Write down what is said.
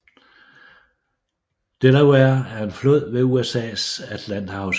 Delaware er en flod ved USAs Atlanterhavskyst